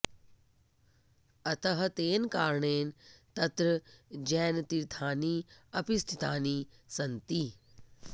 अतः तेन कारणेन तत्र जैनतीर्थानि अपि स्थितानि सन्ति